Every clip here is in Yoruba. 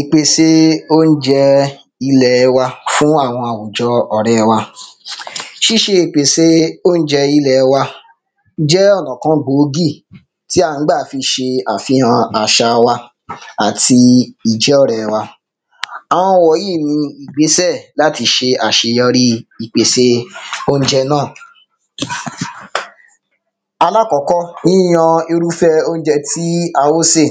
ìpèsè óunjẹ ilẹ̀ wa fún àwon àwùjọ ọ̀rẹ́ wa ṣíṣe ìpèsè óunjẹ jẹ́ ọ̀nà kan gbòógì tí a ń gbà fi ṣe àfihàn àṣa wa àti ìjọ́rẹ̀ wa àwọn wọ̀nyí ni ìgbésẹ̀ láti ṣe àṣeyọrí ìpèsè óunjẹ náà alákọ́kọ́ yíyan irúfẹ́ẹ óunjẹ tí a fẹ́ sè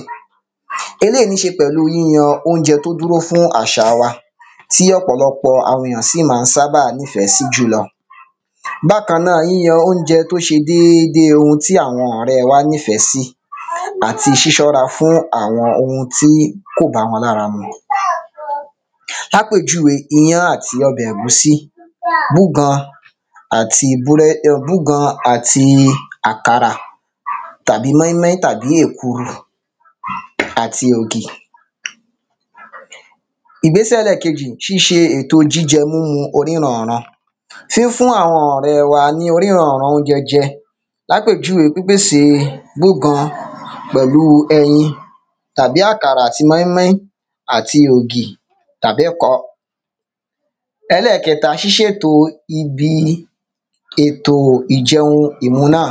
eléyi ní ṣe pẹ̀lú yíyan óunjẹ tó dúró fún àṣa wa tí ọ̀pọ̀lọpọ̀ àwọn èyàn sì má ń sábà nifẹ̀ sí jù lọ bákan náà yíyan óunjẹ tó déédé ohun tí àwọn ọ̀rẹ wa nífẹ́ sí àti ṣíṣọ́ra fún àwọn ohun tí kò báwọn lára mu lápèjúwe ìyan àti ọbẹ̀ ẹ̀gúsí búgan búgan àti àkàrà tàbí mọ́ín-mọ́ín tàbí èkuru àti ògì ìgbésẹ̀ ẹlẹ́ẹ̀kejì ṣíṣe èto jíjẹ múmu oníranran fífún àwọn ọ̀rẹ́ wa ní oníranran óunjẹ́ jẹ lápèjúwe pípèsè búgan pèlú ẹyin tàbí àkàrà àti mọ́ín-mọ́ín àti ògì tàbí ẹ̀kọ ẹlẹ́kẹta ṣíṣètò ibi ètò ìjẹun ìmu náà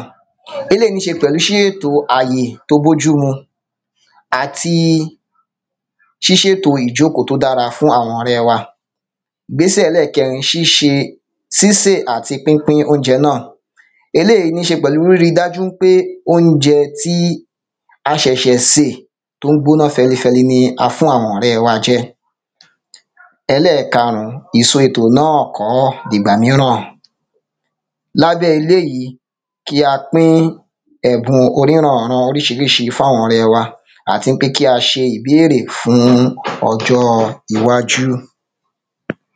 eléyi ní ṣe pẹ̀lú ṣíṣètò àyè tó bójúmu àti ṣíṣètò ìjókòó tó dára fún àwọn ọrẹ́ wa ìgbésẹ̀ ẹlẹ́kẹ̀ẹrin sísè àti pínpín óunjẹ náà eléyi ní ṣe pẹ̀lú ríri dájú ń pé óunjẹ tí a ṣẹ̀ṣẹ̀ sè tó ń gbóná fẹlifẹli ní a fún àwọn ọrẹ́ wa jẹ ẹlẹ́karùn-ún ìsọ ètò náà kọ́ ìgbà míràn lábẹ́ eléyi kí a pín ẹ̀bùn oníranànran oríṣiríṣi fún àwọn ọrẹ́ wa àti ń pé kí a ṣe ìbéèrè fún ọjọ́ọ iwájú